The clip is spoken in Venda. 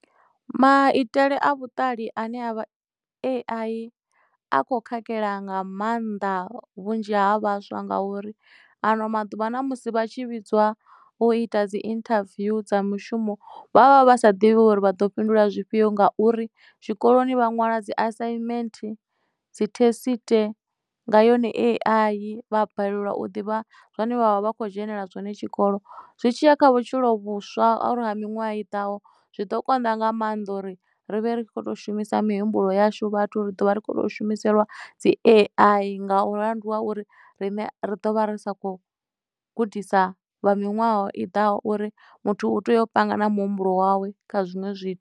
Maitele a vhuṱali ane avha A_I a kho khakhela nga maanḓa vhunzhi ha vhaswa nga uri ano maḓuvha na musi vha tshi vhidzwa u ita dzi interview dza mushumo vha vha vha sa ḓivhi uri vha ḓo fhindula zwifhio nga uri tshikoloni vha nwala dzi assignment dzi thesite nga yone A_I vha a balelwa u ḓivha zwone vhavha vha kho dzhenelela zwone tshikolo zwi tshiya kha vhutshilo vhuswa a uri ha miṅwaha i ḓSho zwi ḓo konḓa nga maanḓa uri ri vhe ri khou to shumisa mihumbulo yashu vhathu ri ḓo vha ri khoto shumiselwa dzi A_I nga uri mulandu wa uri riṋe ri ḓo vha ri sa kho gudisa vha miṅwaha i ḓaho uri muthu u tea u panga na muhumbulo wawe kha zwiṅwe zwi.